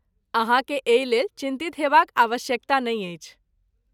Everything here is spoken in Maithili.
अहाँकेँ एहि लेल चिन्तित हेबाक आवश्यकता नहि अछि।